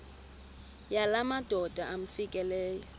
yala madoda amfikeleyo